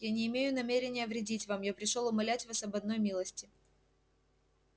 я не имею намерения вредить вам я пришёл умолять вас об одной милости